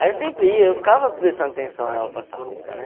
Aí eu sempre ia, eu ficava prestando atenção nela passar roupa, né?